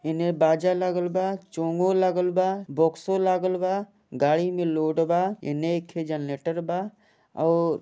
इने बाजा लगल बा चोंगो लगल बा बॉक्सों लगल बा गाड़ी में लोड बा एनेकह जरनेटर बा और --